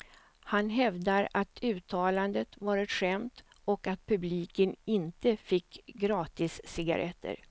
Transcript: Han hävdar att uttalandet var ett skämt och att publiken inte fick gratiscigaretter.